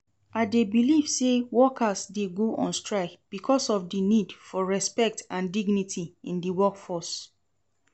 I dey believe say workers dey go on strike because of di need for respect and dignity in di workplace.